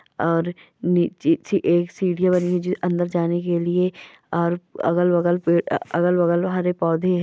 और नि निचे एक सीढिया बनी है अंदर जाने के लिए और अगल बगल पेड अगल बगल हरे पौधे हैं।